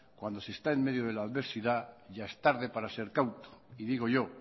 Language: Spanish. cuando se está en medio de la adversidad ya es tarde para ser cauto y digo yo